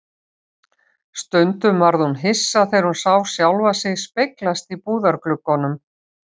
Stundum varð hún hissa þegar hún sá sjálfa sig speglast í búðargluggunum.